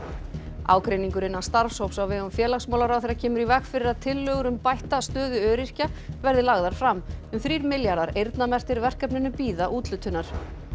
ágreiningur innan starfshóps á vegum félagsmálaráðherra kemur í veg fyrir að tillögur um bætta stöðu öryrkja verði lagðar fram um þrír milljarðar eyrnamerktir verkefninu bíða úthlutunar